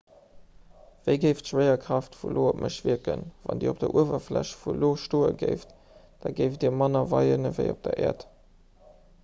wéi géif d'schwéierkraaft vun io op mech wierken wann dir op der uewerfläch vun io stoe géift da géift dir manner weien ewéi op der äerd